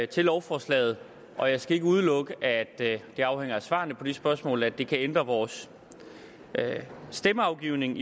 til lovforslaget og jeg skal ikke udelukke det det afhænger af svarene på de spørgsmål at det kan ændre vores stemmeafgivning